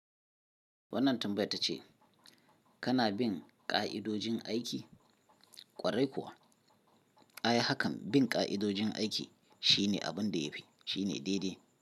Wannan tambaya ta ce, kana bin ka'idojin aiki? Kwarai kuwa. A yi hakan, bin ka'idojin aiki shine abin da ya fi, shine daidai.